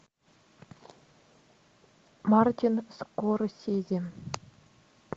мартин скорсезе